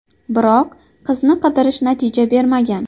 Biroq, qizni qidirish natija bermagan.